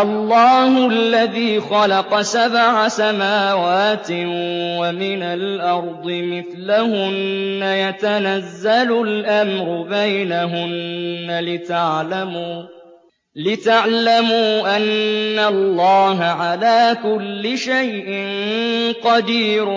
اللَّهُ الَّذِي خَلَقَ سَبْعَ سَمَاوَاتٍ وَمِنَ الْأَرْضِ مِثْلَهُنَّ يَتَنَزَّلُ الْأَمْرُ بَيْنَهُنَّ لِتَعْلَمُوا أَنَّ اللَّهَ عَلَىٰ كُلِّ شَيْءٍ قَدِيرٌ